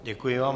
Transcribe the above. Děkuji vám.